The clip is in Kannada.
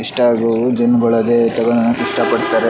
ಇಷ್ಟ ಆಗುವ ದಿನದೊಳಗೆ ಇಷ್ಟ ಪಡ್ತಾರೆ.